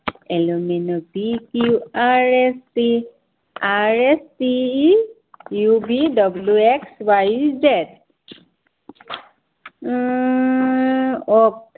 l m n o p q r s t u v w x y z এৰ word